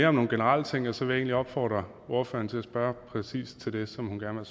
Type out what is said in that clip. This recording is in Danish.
om nogle generelle ting og så vil jeg egentlig opfordre ordføreren til at spørge præcis til det som hun gerne